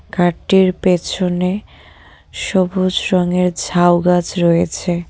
কার -টির পেছনে সবুজ রঙের ঝাউ গাছ রয়েছে।